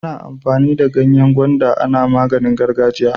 Ana amfani da ganyen gwanda ana maganin gargajiya